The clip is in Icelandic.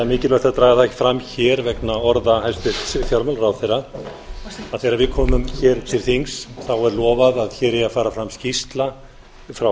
mikilvægt að draga það fram hér vegna orða hæstvirts fjármálaráðherra að þegar við komum hér til þings er lofað að hér eigi að fara fram skýrsla frá